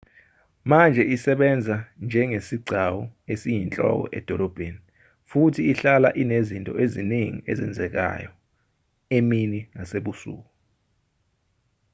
manje isebenza njengesigcawu esiyinhloko edolobheni futhi ihlala inezinto eziningi ezenzekayo emini nasebusuku